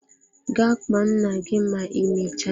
Gaa kpọọ nna gị ma ịmecha!